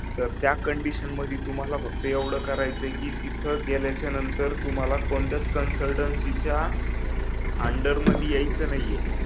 तर त्या कंडिशन मधी तुम्हाला फक्त एवढं करायचय की तिथं गेल्याच्या नंतर तुम्हाला कोणत्याच कन्सल्टन्सीच्या अंडर मधी यायचं नाहीये